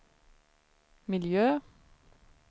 miljö